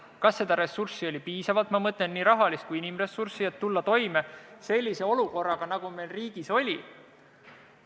Kas seda ressurssi oli piisavalt – ma mõtlen nii raha kui ka inimesi –, et tulla toime sellise olukorraga, nagu meil riigis oli?